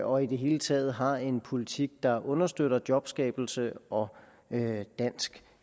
og i det hele taget har en politik der understøtter jobskabelse og dansk